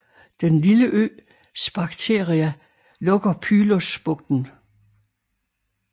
Den lille ø Sphacteria lukker Pylos bugten